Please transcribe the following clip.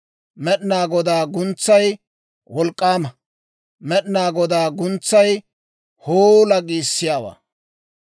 Med'inaa Godaa guntsay wolk'k'aama; Med'inaa Godaa guntsay, «Hoola!» giissiyaawaa.